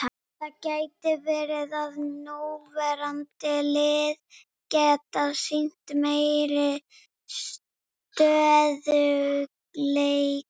Það gæti verið að núverandi lið geti sýnt meiri stöðugleika.